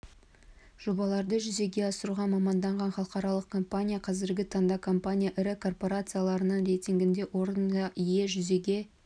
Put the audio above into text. жобаларды жүзеге асыруға маманданған халықаралық компания қазіргі таңда компания ірі корпорацияларының рейтингінде орынға ие жүзеге